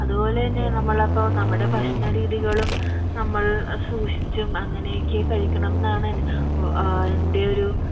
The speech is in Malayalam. അത്പോലെ തന്നെ നമമുടെ പ്പോ ഭക്ഷണ രീതികളും നമ്മൾ സൂക്ഷിച്ചും അങ്ങനെ ഒക്കെ കഴിക്കണം ആണ് വോ അഹ് എന്റെ ഒരു